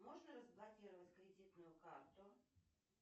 можно разблокировать кредитную карту